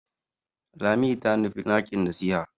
Lami ta nufi ɗakin nasiha.